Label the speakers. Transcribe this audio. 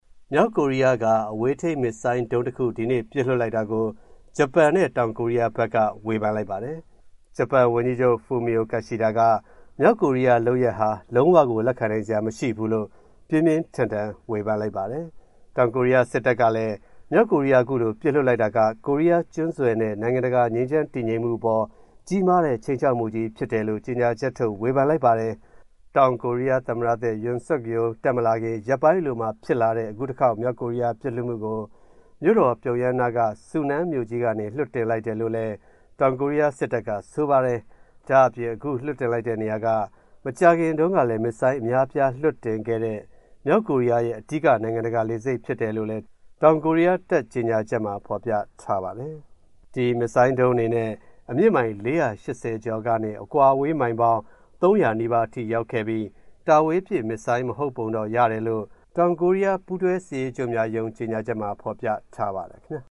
Speaker 1: မြောက်ကိုရီးယား အဝေးထိန်းမစ်ဆိုင်းဒုံးတခု ဒီနေ့ပစ်လွှတ်လိုက်တာကို ဂျပန်နဲ့တောင်ကိုရီးယားက ဝေဖန်လိုက်ပါတယ်။ ဂျပန်ဝန်ကြီးချုပ် Fumio Kishida က မြောက်ကိုရီးယား အခုလုပ်ရပ်ဟာ လုံးဝကို လက်ခံနိုင်စရာမရှိဘူးလို့ ပြင်းပြင်းထန်ထန် ဝေဖန်လိုက်ကြောင်း ဂျပန် Kyodo သတင်းဌာနမှာ ဖော်ပြလိုက်ပါတယ်။ တောင်ကိုရီးယား စစ်တပ်ကလည်း မြောက်ကိုရီးယား အခုလို ပစ်လွှတ်လိုက်တာက ကိုရီးယားကျွန်းဆွယ်နဲ့ နိုင်ငံတကာ ငြိမ်းချမ်းတည်ငြိမ်ရေးအပေါ် ကြီးမားတဲ့ ခြိမ်းခြောက်မှုဖြစ်တယ်လို့ ကြေညာချက်ထုတ် ဝေဖန်လိုက်ပါတယ်။ မြောက်ကိုရီးယားအနေနဲ့ အခုတခေါက် မစ်ဆိုင်းဒုံးပစ်လွှတ်မူကို မြို.တော် ပြုံယမ်းနားက Sunan မြို့ကြီးကနေ လွှတ်တင်လိုက်တယ်လို့လည်း တောင်ကိုရီးယားစစ်တပ်က ဆိုပါတယ်။ ဒါ့အပြင် အခုလွှတ်တင်လိုက်တဲ့ နေရာက မကြာခင်တုန်းကလည်း မစ်ဆိုင်းအများအပြား လွှတ်တင်ခဲ့တဲ့ မြောက်ကိုရီးယားရဲ့ အဓိက နိုင်ငံတကာလေဆိပ်ဖြစ်တယ်လို့လည်း တောင်ကိုရီးယားတပ် ကြေညာချက်မှာ ဖော်ပြထားပါတယ်။ ဒီ မစ်ဆိုင်းဒုံးအနေနဲ့ အမြင့်မိုင် ၄၈၀ ကျော်ကနေ အကွာအဝေး မိုင်ပေါင်း ၃၀၀ နီးပါး အထိ ရောက်ရှိခဲ့ပြီး တာဝေးပစ် မစ်ဆိုင်း ဟုတ်ပုံမရဘူးလို့ တောင်ကိုရီးယား ပူးတွဲစစ်ရေးချုပ်များရုံး ကြေညာချက်မှာ ဖော်ပြထားပါတယ် ခင်ဗျာ။